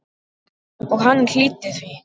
Og hann hlýddi því.